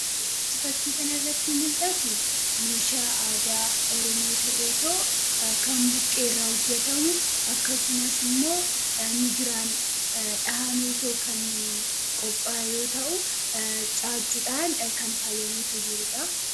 Wanti fakkii kanarratti mul'atu meeshaa aadaa Oromoo ta'ee kan buqqeerraa hojjatamu akkasumas immoo migiraan dhahamee kan qophaaye yoo ta'u, caaccuudhaan kan faayamee jiruudha.